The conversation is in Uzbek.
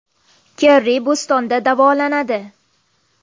Kerri Bostonda davolanadi.